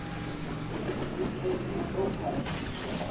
ri gude i ḓo khwaṱhiswa